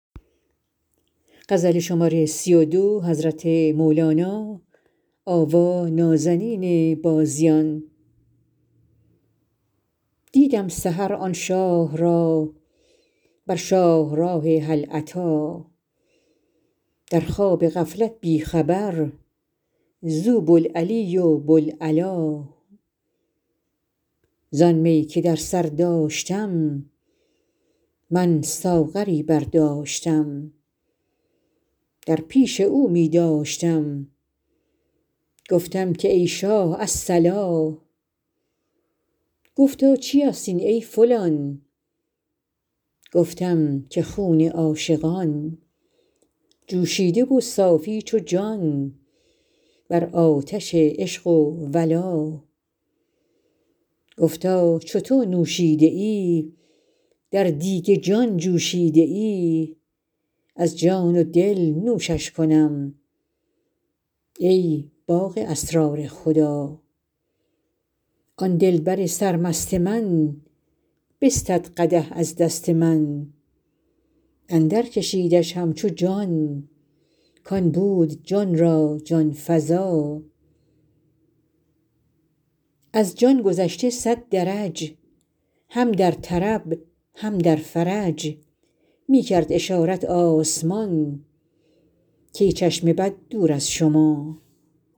دیدم سحر آن شاه را بر شاهراه هل اتی در خواب غفلت بی خبر زو بوالعلی و بوالعلا زان می که در سر داشتم من ساغری برداشتم در پیش او می داشتم گفتم که ای شاه الصلا گفتا چیست این ای فلان گفتم که خون عاشقان جوشیده و صافی چو جان بر آتش عشق و ولا گفتا چو تو نوشیده ای در دیگ جان جوشیده ای از جان و دل نوشش کنم ای باغ اسرار خدا آن دلبر سرمست من بستد قدح از دست من اندرکشیدش همچو جان کان بود جان را جان فزا از جان گذشته صد درج هم در طرب هم در فرج می کرد اشارت آسمان کای چشم بد دور از شما